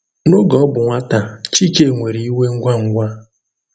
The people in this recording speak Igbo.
N’oge ọ bụ nwata, Chike nwere iwe ngwa ngwa.